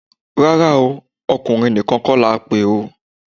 Rárá o, ọkùnrin nìkan kọ́ la pè o